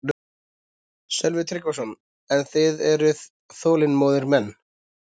Sölvi Tryggvason: En þið eruð þolinmóðir menn?